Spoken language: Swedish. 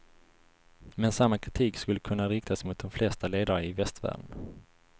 Men samma kritik skulle kunna riktas mot de flesta ledare i västvärlden.